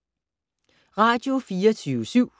Radio24syv